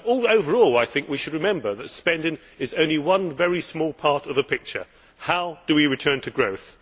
Overall, I think we should remember that spending is only one very small part of the picture. How do we return to growth?